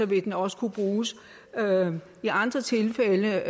vil den også kunne bruges i andre tilfælde